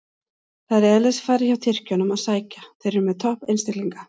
Það er í eðlisfari hjá Tyrkjunum að sækja, þeir eru með topp einstaklinga.